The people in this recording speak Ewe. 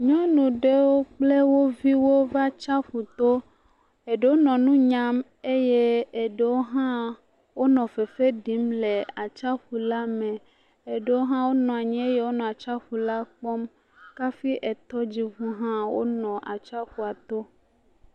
Nyɔnu aɖewo kple woviwo va atsaƒu to ɖewo nɔ nunyam eye ɖewo ha nɔ fefe ɖim le atsaƒu la me ɖewo ha nɔ anyi nɔ atsaƒu la kpɔm kafi etɔdzʋu ha nɔ atsaƒu la to